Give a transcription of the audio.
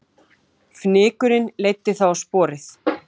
Fnykurinn leiddi þá á sporið